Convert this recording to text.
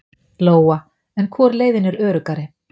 Lóa: En hvor leiðin er öruggari?